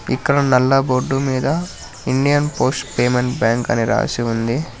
ఇక్కడ నల్ల బోర్డు మీద ఇండియన్ పోస్ట్ పేమెంట్ బ్యాంక్ అని రాసి ఉంది.